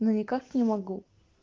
но никак не могу